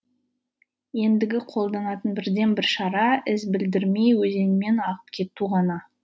ендігі қолданатын бірден бір шара із білдірмей өзенмен ағып кету ғана